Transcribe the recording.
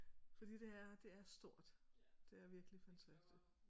Fordi det er det er stort der er virkelig fantastisk